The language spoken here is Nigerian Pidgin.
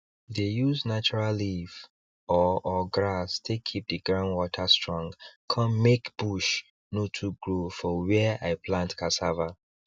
i dey use natural leaf or or grass take keep the ground water strong con make bush no too grow for where i plant cassava